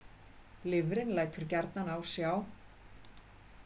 Lifrin lætur gjarnan á sjá.